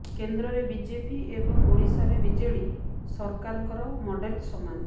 କେନ୍ଦ୍ରରେ ବିଜେପି ଏବଂ ଓଡ଼ିଶାରେ ବିଜେଡ଼ି ସରକାରଙ୍କର ମଡେଲ ସମାନ